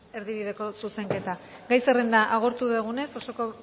erdibideko zuzenketa gai zerrenda agortu dugunez osoko